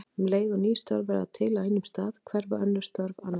Um leið og ný störf verða til á einum stað hverfa önnur störf annars staðar.